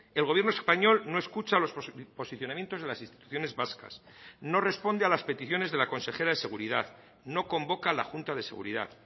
el gobierno español no escucha los posicionamientos de las instituciones vascas no responde a las peticiones de la consejera de seguridad no convoca la junta de seguridad